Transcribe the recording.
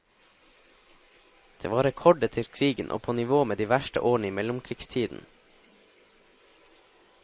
Det var rekord etter krigen og på nivå med de verste årene i mellomkrigstiden.